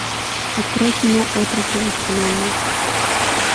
открой кино отроки во вселенной